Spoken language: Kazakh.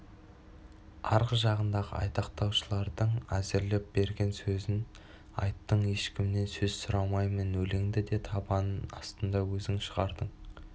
арғы жағыңдағы айтақтаушылардың әзірлеп берген сөзін айттың ешкімнен сөз сұрамаймын өлеңді де табан астында өзің шығардың